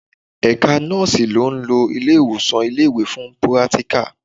Ẹ̀ka nọ́ọ̀sì ń lọ ilé-ìwòsàn ilé-ìwé fún pírátíkà